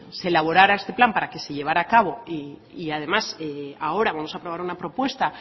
se elaborara este plan para que se llevara a cabo y además ahora vamos a aprobar una propuesta